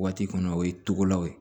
Waati kɔnɔ o ye togolaw ye